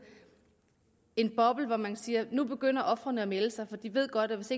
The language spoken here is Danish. er en boble hvor man kan sige at nu begynder ofrene at melde sig for de ved godt at hvis